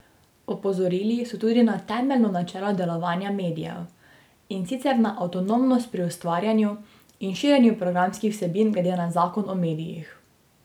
Opozorili so tudi na temeljno načelo delovanja medijev, in sicer na avtonomnost pri ustvarjanju in širjenju programskih vsebin glede na zakon o medijih.